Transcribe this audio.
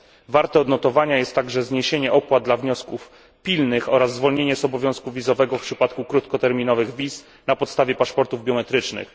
Warte odnotowania jest także zniesienie opłat w przypadku wniosków pilnych, oraz zwolnienie z obowiązku wizowego w przypadku krótkoterminowych wizyt na podstawie paszportów biometrycznych.